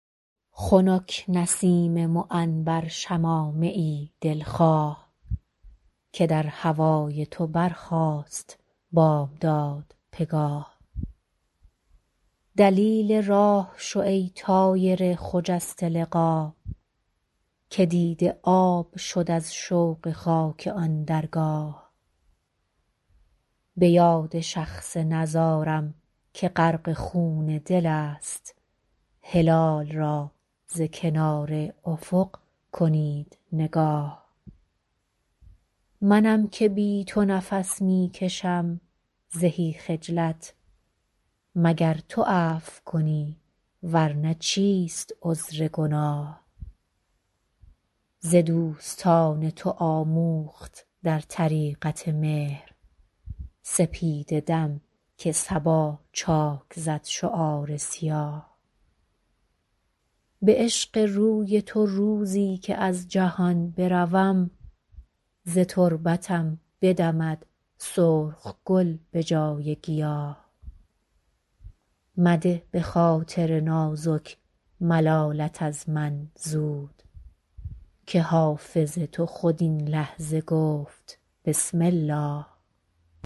خنک نسیم معنبر شمامه ای دل خواه که در هوای تو برخاست بامداد پگاه دلیل راه شو ای طایر خجسته لقا که دیده آب شد از شوق خاک آن درگاه به یاد شخص نزارم که غرق خون دل است هلال را ز کنار افق کنید نگاه منم که بی تو نفس می کشم زهی خجلت مگر تو عفو کنی ور نه چیست عذر گناه ز دوستان تو آموخت در طریقت مهر سپیده دم که صبا چاک زد شعار سیاه به عشق روی تو روزی که از جهان بروم ز تربتم بدمد سرخ گل به جای گیاه مده به خاطر نازک ملالت از من زود که حافظ تو خود این لحظه گفت بسم الله